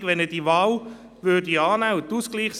Wie lange dauert es bei Grossrätin Imboden?